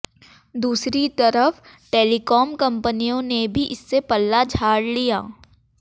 दूसरी तरफ टेलीकॉम कंपनियों ने भी इससे पल्ला झाड़ लिया